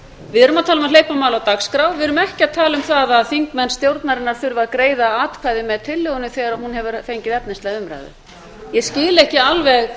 erum að tala um að hleypa máli á dagskrá við erum ekki að tala um það að þingmenn stjórnarinnar þurfi að greiða atkvæði með tillögunni þegar hún hefur fengið efnislega umræðu ég skil ekki alveg